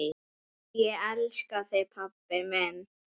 Ég elska þig pabbi minn.